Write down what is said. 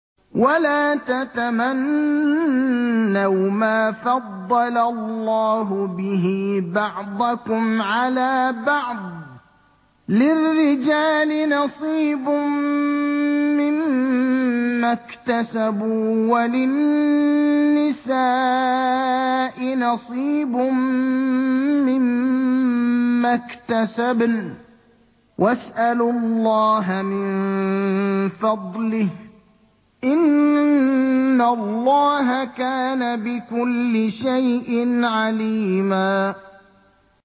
وَلَا تَتَمَنَّوْا مَا فَضَّلَ اللَّهُ بِهِ بَعْضَكُمْ عَلَىٰ بَعْضٍ ۚ لِّلرِّجَالِ نَصِيبٌ مِّمَّا اكْتَسَبُوا ۖ وَلِلنِّسَاءِ نَصِيبٌ مِّمَّا اكْتَسَبْنَ ۚ وَاسْأَلُوا اللَّهَ مِن فَضْلِهِ ۗ إِنَّ اللَّهَ كَانَ بِكُلِّ شَيْءٍ عَلِيمًا